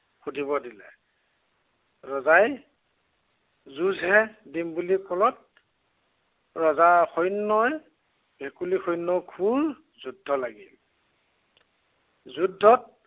সুধিব দিলে। ৰজাই যুঁজহে দিম বুলি কলত ৰজাৰ সৈন্য়ই ভেকুলীৰ সৈন্য়ৰ খুব যুদ্ধ লাগিল। যুদ্ধত